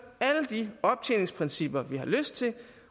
alle de optjeningsprincipper vi har lyst til